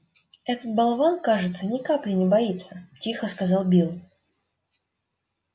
этот болван кажется ни капли не боится тихо сказал билл